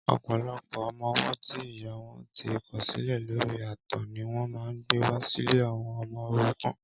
Ọpọlọpọ ọmọ ọwọ ti ìyá wọn ti kọ̀silẹ̀ lóri ààtàn niwọn mà n gbéwá silé awọm ọmọ órúkàn